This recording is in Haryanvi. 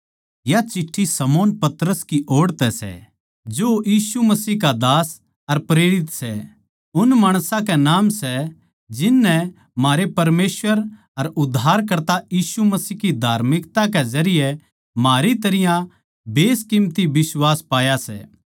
या चिट्ठी शमौन पतरस की ओड़ तै जो यीशु मसीह का दास अर प्रेरित सै उन माणसां के नाम सै जिन नै म्हारै परमेसवर अर उद्धारकर्ता यीशु मसीह की धार्मिकता के जरिये म्हारी तरियां बेसकीमती बिश्वास पाया सै